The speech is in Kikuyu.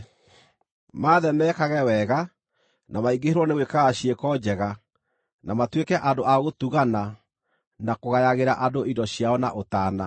Maathe mekage wega, na maingĩhĩrwo nĩ gwĩkaga ciĩko njega, na matuĩke andũ a gũtugana na kũgayagĩra andũ indo ciao na ũtaana.